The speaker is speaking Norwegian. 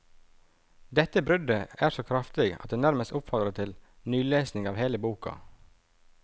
Dette bruddet er så kraftig at det nærmest oppfordrer til nylesing av hele boka.